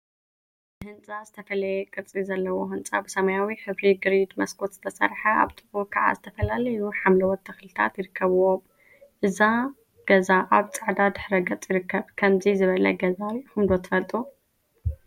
ህንፃ ዝተፈለየ ቅርፂ ዘለዎ ህንፃ ብሰማያዊ ሕብሪ ግሪድ መስኮት ዝተሰርሐ አብ ጥቅኡ ከዓ ዝተፈላለዩ ሓምለዎት ተክሊታት ይርከቡዎም፡፡ እዚ ገዛ አብ ፃዕዳ ድሕረ ገፅ ይርከብ፡፡ ከምዚ ዝበለ ገዛ ሪኢኩም ዶ ትፈልጡ?